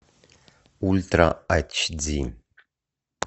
ультра ач ди